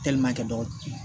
kɛ dɔgɔ